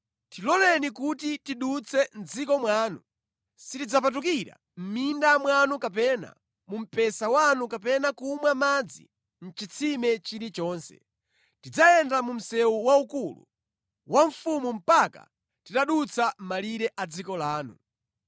“Tiloleni kuti tidutse mʼdziko mwanu. Sitidzapatukira mʼminda mwanu kapena mu mpesa wanu kapena kumwa madzi mʼchitsime chili chonse. Tidzayenda mu msewu waukulu wa mfumu mpaka titadutsa malire a dziko lanu.”